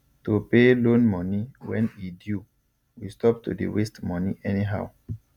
to pay loan moni when e due we stop to dey waste moni anyhow